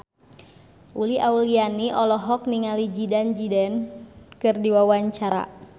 Uli Auliani olohok ningali Zidane Zidane keur diwawancara